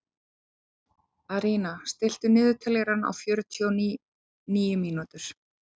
Arína, stilltu niðurteljara á fjörutíu og níu mínútur.